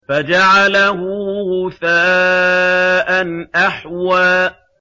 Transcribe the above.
فَجَعَلَهُ غُثَاءً أَحْوَىٰ